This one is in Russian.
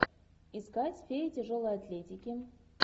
искать фея тяжелой атлетики